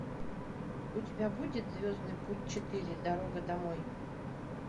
у тебя будет звездный путь четыре дорога домой